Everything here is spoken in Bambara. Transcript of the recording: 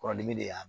Kɔrɔdimi de y'a